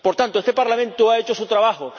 Por tanto, este Parlamento ha hecho su trabajo.